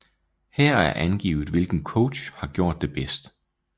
Her er angivet hvilken coach har gjort det bedst